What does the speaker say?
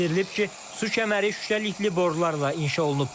Bildirilib ki, su kəməri şüşəli borularla inşa olunub.